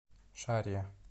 шарья